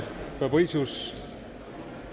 fabricius